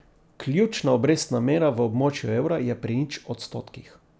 Ključna obrestna mera v območju evra je pri nič odstotkih.